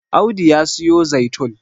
Audu ya siyo zaitun